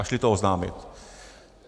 A šli to oznámit.